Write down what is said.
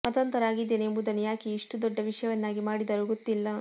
ಮತಾಂತರ ಆಗಿದ್ದೇನೆ ಎಂಬುದನ್ನು ಯಾಕೆ ಇಷ್ಟು ದೊಡ್ಡ ವಿಷಯವನ್ನಾಗಿ ಮಾಡಿದರೋ ಗೊತ್ತಿಲ್ಲ